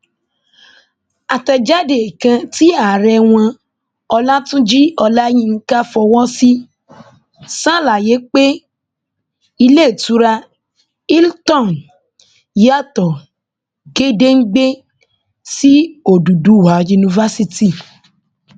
àtẹjáde kan tí ààrẹ wọn ọlàtúnjì olayinka fọwọ sí ṣàlàyé pé iléetura hilton yàtọ gédéǹgbè sí òdúdúwá university